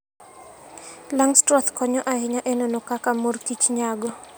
Langstroth konyo ahinya e nono kaka mor kich nyago.